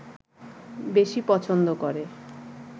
বেশি পছন্দ করে